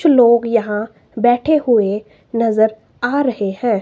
कुछ लोग यहां बैठे हुए नजर आ रहे हैं।